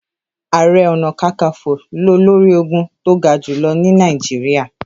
Ààrẹ Ọ̀nà Kakaǹfò lolórí ológun tó ga jùlọ ni Nàìjíríà.